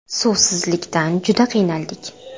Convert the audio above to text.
Suvsizlikdan juda qiynaldik.